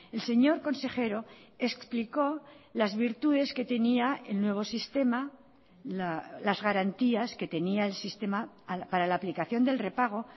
el señor consejero explicó las virtudes que tenía el nuevo sistema las garantías que tenía el sistema para la aplicación del repago